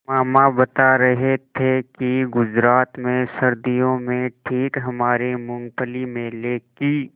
मामा बता रहे थे कि गुजरात में सर्दियों में ठीक हमारे मूँगफली मेले की